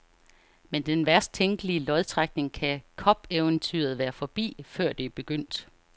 Med den værst tænkelige lodtrækning kan cupeventyret være forbi, før det er begyndt.